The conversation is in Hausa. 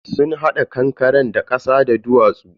sun hada kankaren ne da kasa da duwatsu.